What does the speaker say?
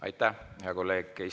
Aitäh, hea kolleeg!